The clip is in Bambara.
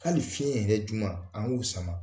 Hali fiɲɛin yɛrɛ jum an k'o sama